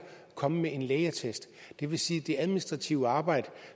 komme med en lægeattest det vil sige at det administrative arbejde